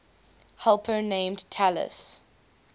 helper named talus